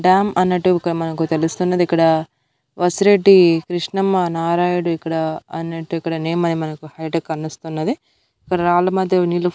dam అన్నట్టువి మనకు తెలుస్తున్నది ఇక్కడ వసిరెడ్డి కృష్ణమ్మ నారాయుడు ఇక్కడ అన్నట్టు ఇక్కడ నేమ్ అనేది మనకు హైటెక్ కనుస్తున్నది ఇక్కడ రాళ్ల మధ్య నీళ్ళు --